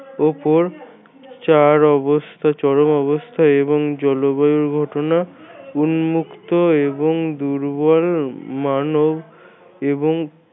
উপর চার অবস্থা চরম অবস্থা এবং জলবায়ুর ঘটনা উন্মুক্ত এবং দূর্বল মান এবং